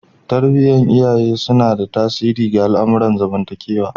Tarbiyar iyaye tana tasiri ga al'amuran zamantakewa